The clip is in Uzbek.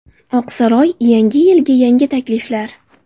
Oq saroy – Yangi yilga yangi takliflar.